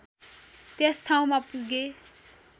त्यस ठाउँमा पुगे